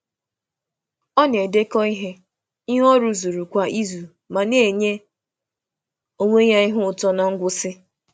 Ọ na-edekọ ihe ọ rụzuru kwa izu ma na-enye onwe ya ihe ụtọ na ngwụsị.